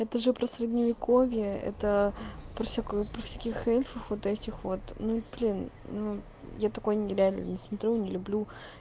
это же про средневековье это про всякую про всяких этих вот этих вот ну блин ну я такое не реально не смотрю не люблю